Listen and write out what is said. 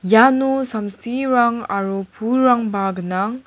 iano samsirang aro pulrangba gnang.